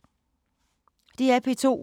DR P2